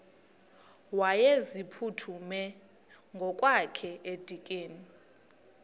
wayeziphuthume ngokwakhe edikeni